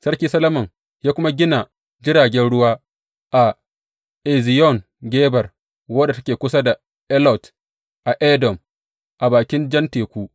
Sarki Solomon ya kuma gina jiragen ruwa a Eziyon Geber, wadda take kusa da Elot a Edom, a bakin Jan Teku.